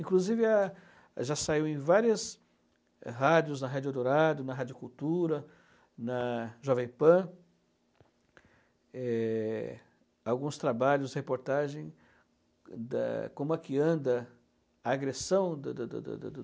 Inclusive a já saiu em várias rádios, na Rádio Dourado, na Rádio Cultura, na Jovem Pan, é, alguns trabalhos, reportagens, da como é que anda a agressão do do do do